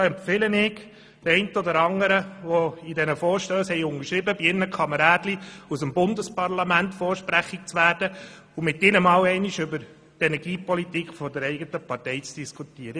Ich empfehle dem einen oder anderen, der diesen Vorstoss unterschrieben hat, bei seinen Kameraden aus dem Bundesparlament vorzusprechen und mit ihnen einmal über die Energiepolitik der eigenen Partei zu diskutieren.